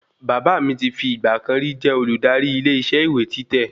Bàbá mi ti fi ìgbàkan rí jẹ́ olùdarí ilé isẹ́ ìwé títẹ̀